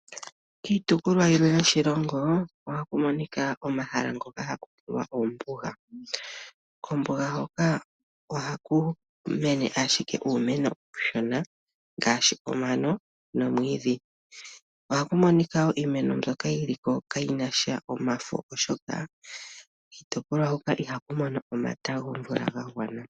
Kiitopolwa yilwe yoshilongo ohaku monika omahala ngoka haku ti wa ombuga. Kombuga hoka ohaku mene ashike uumeno uushona ngaashi omano nomwiidhi. Ohaku monika wo iimeno mbyoka yi li kayi na sha omafo, oshoka kiitopolwa huka ihaku mono omata gomvula ga gwana.